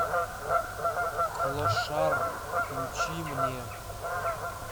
клошар включи мне